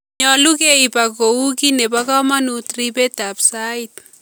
Nyolu keib ak Kou ki nebo komanuut riibetaab sait